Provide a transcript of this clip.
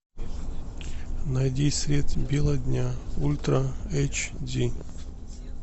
найди средь бела дня ультра эйч ди